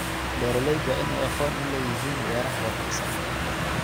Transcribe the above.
Beeraleydu waa in ay aqoon u leeyihiin beeraha wanaagsan.